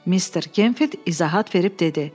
Mister Gemfild izahat verib dedi.